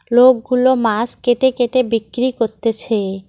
লোক গুলো মাছ কেটে কেটে বিক্রি করতেছে।